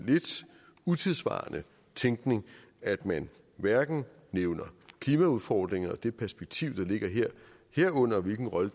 utidssvarende tænkning at man hverken nævner klimaudfordringer og det perspektiv der ligger her herunder hvilken rolle